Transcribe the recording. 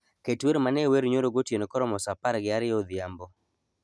Ket wer mane wer nyoro gotieno koromo saa apar gi ariyo odhiambo